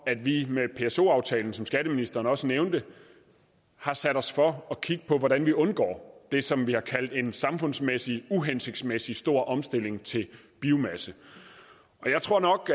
at vi med pso aftalen som skatteministeren også nævnte satte os for at kigge på hvordan vi undgår det som vi har kaldt en samfundsmæssig uhensigtsmæssig stor omstilling til biomasse jeg tror nok